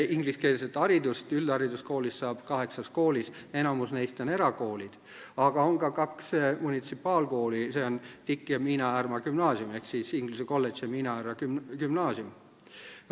Ingliskeelset haridust saab üldhariduskoolidest kaheksas, enamik neist on erakoolid, aga on ka kaks munitsipaalkooli, need on Tallinna Inglise Kolledž ja Miina Härma Gümnaasium.